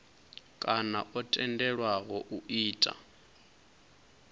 kana o tendelwaho u ita